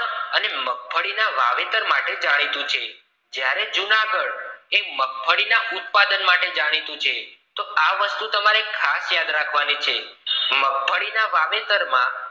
અને મગફળી ના વાવેતર માટે જાણીતું છે જ્યારે જૂનાગઢ એ મગફળી ઉત્પાદન માટે જાણીતું છે આ વસ્તુ તમારે ખાસ યાદ રાખવની છે મગફળી ના વાવેતર માં